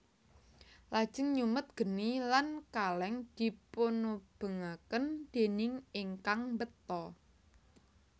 Lajeng nyumet geni lan kaleng dipunubengaken déning ingkang mbeta